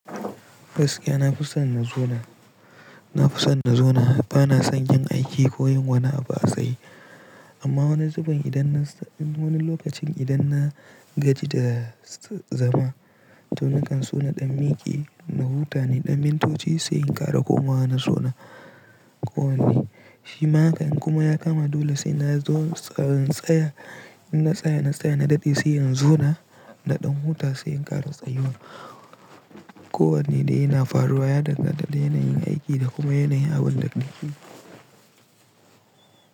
Gaskiya na fi son na zauna, na fi son na zauna bana son yin aiki ko yin wani abua tsaye amma wani zuben idan na wani lokacin idan na gaji da zama, to nakan so na ɗan miƙe na huta ne, ɗan mintoci sai in ƙara komawa na zauna ko wane. Shi ma haka in kuma ya kama dole sai na zo tsayin tsaya, in na tsaya na tsaya na dade sai in zona na ɗan huta sai in ƙara tsayuwa. Ko wanne dai yana faruwa ya danganta da yana yin aiki da kuma yana yawon daɗaɗi.